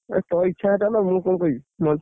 ତୋ ଇଚ୍ଛା ଯେତେ ନା ମୁଁ କଣ, କହିବି।